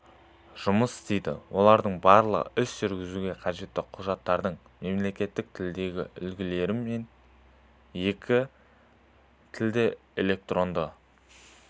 жұмыс істейді олардың барлығы іс жүргізуге қажетті құжаттардың мемлекеттік тілдегі үлгілері мен екі тілді электронды